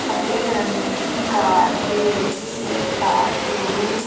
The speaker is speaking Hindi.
सफेद रंग की कार है ये एक कार शोरूम --